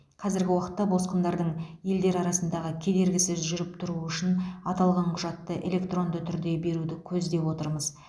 қазіргі уақытта босқындардың елдер арасында кедергісіз жүріп тұруы үшін аталған құжатты электронды түрде беруді көздеп отырмыз